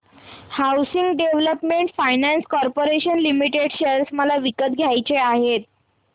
housing development finance corporation limited share मला विकत घ्यायचे आहेत